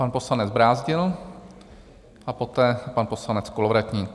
Pan poslanec Brázdil a poté pan poslanec Kolovratník.